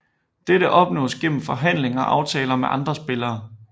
Dette opnås gennem forhandling og aftaler med de andre spillere